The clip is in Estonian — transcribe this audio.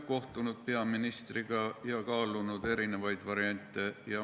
Ma olen peaministriga kohtunud ja kaalunud eri variante.